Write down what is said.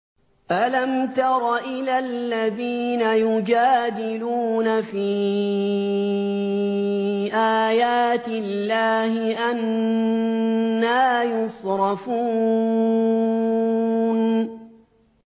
أَلَمْ تَرَ إِلَى الَّذِينَ يُجَادِلُونَ فِي آيَاتِ اللَّهِ أَنَّىٰ يُصْرَفُونَ